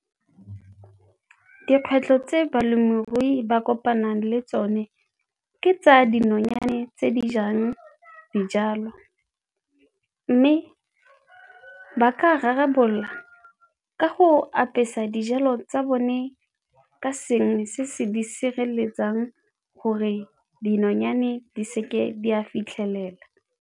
Dikgwetlho tse balemirui ba kopanang le tsone ke tsa dinonyane tse di jang dijalo mme ba ka rarabolola ka go apesa dijalo tsa bone ka sengwe se se di sireletsang gore dinonyane di seke di a fitlhelela.